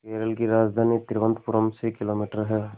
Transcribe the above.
केरल की राजधानी तिरुवनंतपुरम से किलोमीटर है